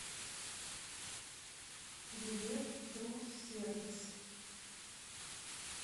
билет труд сервис